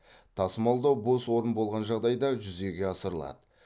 тасымалдау бос орын болған жағдайда жүзеге асырылады